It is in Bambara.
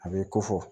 A b'i ko fɔ